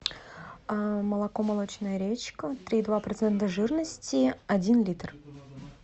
молоко молочная речка три и два процента жирности один литр